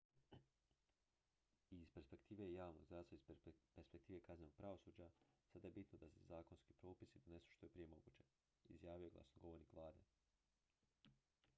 """i iz perspektive javnog zdravstva i iz perspektive kaznenog pravosuđa sada je bitno da se zakonski propisi donesu što je prije moguće" izjavio je glasnogovornik vlade.